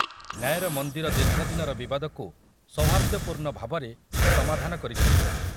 ନ୍ୟାୟର ମନ୍ଦିର ଦୀର୍ଘଦିନର ବିବାଦକୁ ସୌହାର୍ଯ୍ୟପୂର୍ଣ୍ଣ ଭାବରେ ସମାଧାନ କରିଛନ୍ତି ।